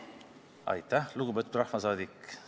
Aitäh, lugupeetud rahvasaadik!